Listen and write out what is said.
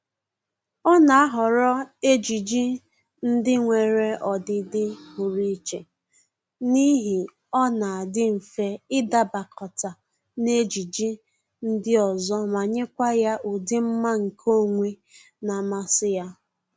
Ọ na-ahọrọ ejiji ndị nwere ọdịdị pụrụ iche n'ihi ọ na-adị mfe ịdabakọta n'ejiji ndị ọzọ ma nyekwa ya ụdị mma nke onwe na-amasị ya